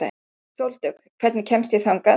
Sóldögg, hvernig kemst ég þangað?